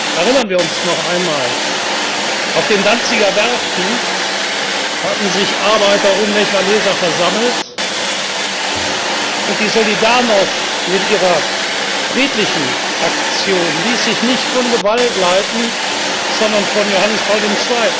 Erinnern wir uns noch einmal Auf den Danziger Werften hatten sich Arbeiter um Lech Wałęsa versammelt, und die Solidarność mit ihrer friedlichen Aktion ließ sich nicht von Gewalt leiten, sondern von Johannes Paul